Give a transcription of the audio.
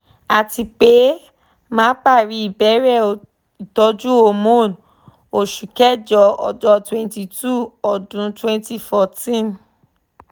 atipe ma pari ibere itoju hormone osu kejo ojo twenty two odun twenty fourteen